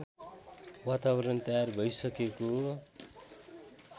वातावरण तयार भइसकेको